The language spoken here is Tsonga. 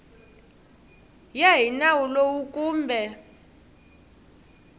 ya hi nawu lowu kumbe